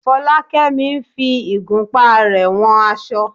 Fọlákẹ́mi ń fi igunpá rẹ̀ wọn aṣọ.